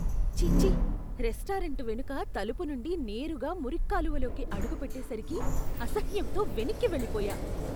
ఛీఛీ! Restaurant వెనుక తలుపు నుండి నేరుగా మురిక్కాలువలోకి అడుగు పెట్టేసరికి అసహ్యంతో వెనక్కి వెళ్లిపోయా.